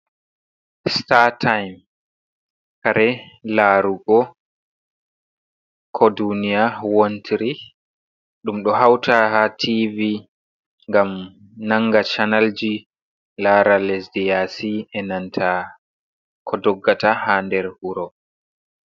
Startime kare larugo ko duniya wontiry, ɗum ɗo hauta ha tv ngam nanga chanelji, lara lesɗe yaci enanta ko doggata ha nder wuro.